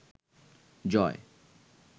জয়